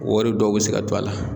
Wari dɔw bɛ se ka to a la